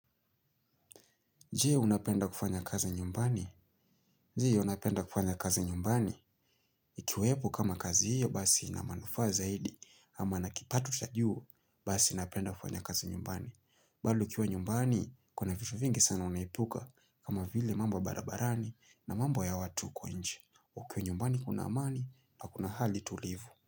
Je unapenda kufanya kazi nyumbani? Ji unapenda kufanya kazi nyumbani? Ikiwepo kama kazi hiyo basi ina manufaa zaidi ama nakipato cha juu basi napenda kufanya kazi nyumbani. Bado ukiwa nyumbani kuna vitu vingi sana unaepuka kama vile mambo ya barabarani na mambo ya watu huko nje. Ukiwa nyumbani kuna amani na kuna hali tulivu.